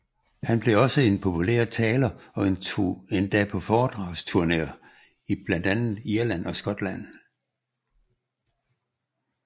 Han blev også en populær taler og tog endda på foredragsturneer til blandt andet Irland og Skotland